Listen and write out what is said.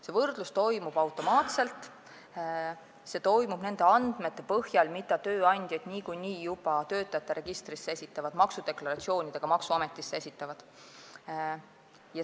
See võrdlus toimub automaatselt, nende andmete põhjal, mida tööandjad niikuinii juba töötamise registrisse ja maksudeklaratsioonidega maksuametisse esitavad.